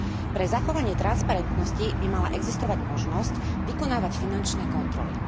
Pre zachovanie transparentnosti by mala existovať možnosť vykonávať finančné kontroly.